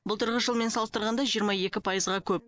былтырғы жылмен салыстырғанда жиырма екі пайызға көп